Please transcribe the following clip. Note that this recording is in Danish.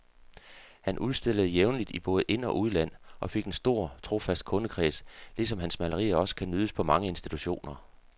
Han udstillede jævnligt i både ind og udland og fik en stor, trofast kundekreds, ligesom hans malerier også kan nydes på mange institutioner.